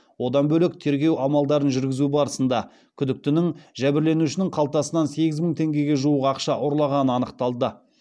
одан бөлек тергеу амалдарын жүргізу барысында күдіктінің жәбірленушінің қалтасынан сегіз мың теңгеге жуық ақша ұрлағаны анықталды